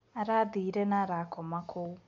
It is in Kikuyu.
Arathire na arakoma kũu.